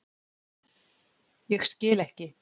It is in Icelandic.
Ég skil ekki.